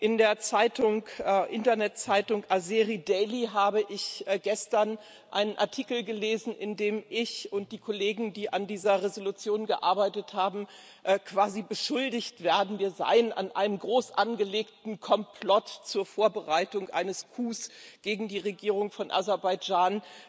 In der Internetzeitung Azeri Daily habe ich gestern einen Artikel gelesen, in dem ich und die Kollegen, die an dieser Entschließung gearbeitet haben, quasi beschuldigt werden, wir seien an einem groß angelegten Komplott zur Vorbereitung eines Coups gegen die Regierung von Aserbaidschan